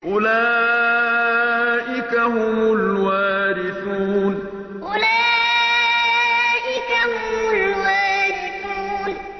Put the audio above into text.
أُولَٰئِكَ هُمُ الْوَارِثُونَ أُولَٰئِكَ هُمُ الْوَارِثُونَ